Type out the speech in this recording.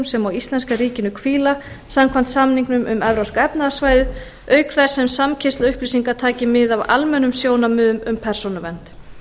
sem á íslenska ríkinu hvíla samkvæmt samningnum um evrópska efnahagssvæðið auk þess sem samkeyrsla upplýsinga taki mið af almennum sjónarmiðum um persónuvernd